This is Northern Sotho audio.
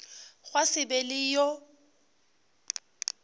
gwa se be le yo